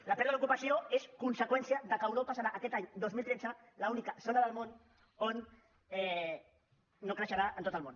la pèrdua d’ocupació és conseqüència que europa serà aquest any dos mil tretze l’única zona del món que no creixerà en tot el món